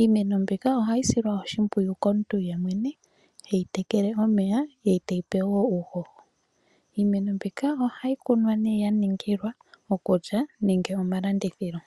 Iimeno mbika ohayi silwa oshimpwiyu komuntu ye mwene heyi tekele omeya ye teyi pe uuhoho. Iimeno mbika ohayi kunwa nee ya ningila oku lya nenge omalandithilo.